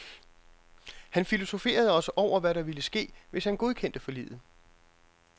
Han filosoferede også over, hvad der ville ske, hvis han godkendte forliget.